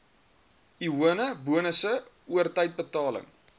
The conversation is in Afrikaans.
lone bonusse oortydbetaling